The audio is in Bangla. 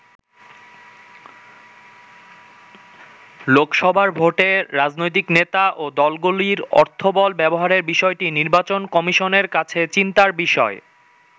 লোকসভার ভোটে রাজনৈতিক নেতা ও দলগুলির অর্থবল ব্যবহারের বিষয়টি নির্বাচন কমিশনের কাছে চিন্তার বিষয়।